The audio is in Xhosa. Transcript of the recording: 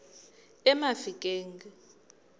emafikeng